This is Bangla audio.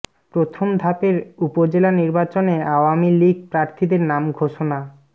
প্রথম ধাপের উপজেলা নির্বাচনে আওয়ামী লীগ প্রার্থীদের নাম ঘোষণা